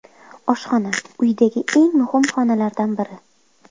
Oshxona – uydagi eng muhim xonalardan biri.